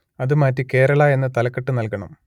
അത് മാറ്റി കേരള എന്ന് തലക്കെട്ട് നൽകണം